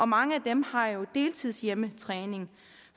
mange af dem har jo deltidshjemmetræning